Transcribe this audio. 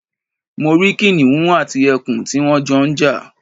Mo rí kìnìún àti ẹkùn tí wón Jo n jà